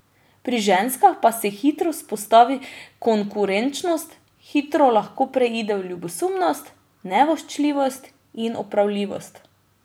Pri ženskah pa se hitro vzpostavi konkurenčnost, hitro lahko preide v ljubosumnost, nevoščljivost in opravljivost.